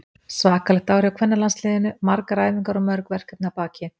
Svakalegt ár hjá kvennalandsliðinu, margar æfingar og mörg verkefni að baki.